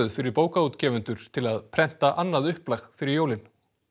fyrir bókaútgefendur til að prenta annað upplag fyrir jólin